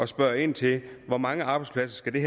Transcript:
spørge ind til hvor mange arbejdspladser det